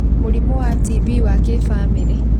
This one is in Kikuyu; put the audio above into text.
Mũrimũ wa TB wa kĩbamĩrĩ